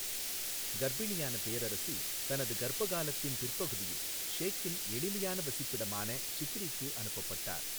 கர்ப்பிணியான பேரரசி தனது கர்ப்ப காலத்தின் பிற்பகுதியில் ஷேக்கின் எளிமையான வசிப்பிடமான சிக்ரிக்கு அனுப்பப்பட்டார்.